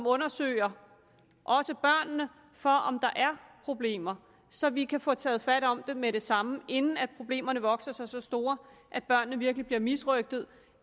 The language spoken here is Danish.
undersøger børnene for om der er problemer så vi kan få taget fat om det med det samme inden problemerne vokser sig så store at børnene virkelig bliver misrøgtet